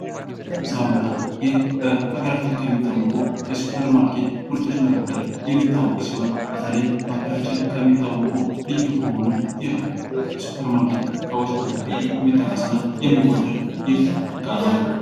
ሳሙና ይህ በሀገራችን ከሚታወቁ የሱፐርማርኬት ምርቶች መካከል የሚጠቀስ ሲሆን በተለይ በሀገራችን ከሚታወቁ ልዩ ከሆኑ የሱፐርማርኬት እቃዎች መካከል የሚጠቀስና የሚወደድ እቃ ነው።